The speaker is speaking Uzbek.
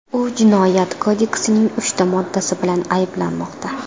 U Jinoyat kodeksining uchta moddasi bilan ayblanmoqda.